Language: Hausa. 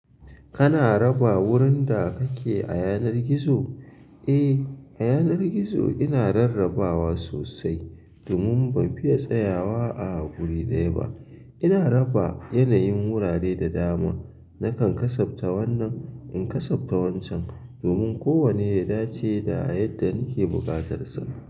Kana raba wurin da kake a yanar gizo? Eh, a yanar gizo ina rarrabawa sosai domin ban fiya tsayawa a wuri ɗaya ba. Ina raba yanayin wurare da dama. Nakan kasabta wannan in kasabta wancan, domin kowanne ya dace da yadda nake buƙatar sa.